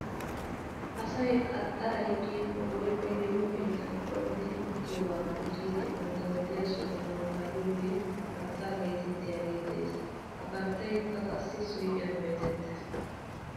Asay qaxxaray kiyikko woykko yeeho keettan coogidi uttiyoogaappe giidi bantta wodiyaa suganaw kaa'iyoogee karttaa geetettiyaagee de'es. He karttaykka qassi suyqqiyan bayzzettes.